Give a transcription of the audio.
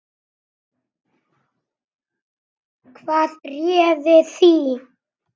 Hvað réði því?